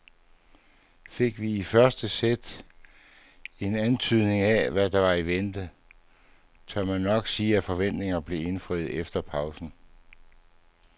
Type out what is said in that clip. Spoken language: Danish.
Fik vi i første sæt en antydning af hvad der var i vente, tør man nok sige at forventningerne blev indfriet efter pausen.